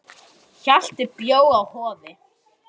Blómin hafa stutta títu.